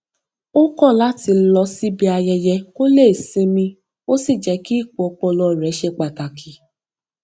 ó kọ láti lọ síbi ayẹyẹ kó lè sinmi ó sì jẹ kí ìpò ọpọlọ rẹ ṣe pàtàkì